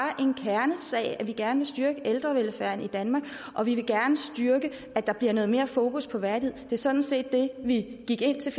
en kernesag at vi gerne vil styrke ældrevelfærden i danmark og vi vil gerne styrke at der bliver noget mere fokus på værdighed det var sådan set det vi gik ind til